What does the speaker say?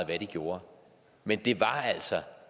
hvad de gjorde men